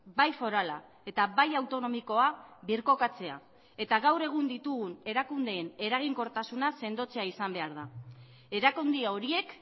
bai forala eta bai autonomikoa birkokatzea eta gaur egun ditugun erakundeen eraginkortasuna sendotzea izan behar da erakunde horiek